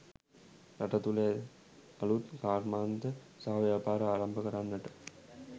රට තුළ අලූත් කර්මාන්ත සහ ව්‍යාපාර ආරම්භ කරන්නට